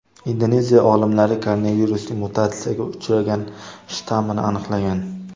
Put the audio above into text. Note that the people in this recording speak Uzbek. Indoneziya olimlari koronavirusning mutatsiyaga uchragan shtammini aniqlagan .